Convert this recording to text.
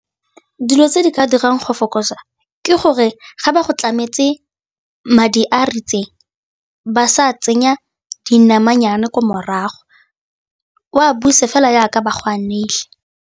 Dilo tse di ka dirang go fokotsa, ke gore ga ba go tlametse madi a a ritseng, ba sa tsenya dinamanyana ko morago, o a buse fela jaaka ba go a neile.